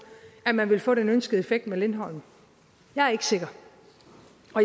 at man ville få den ønskede effekt med lindholm jeg er ikke sikker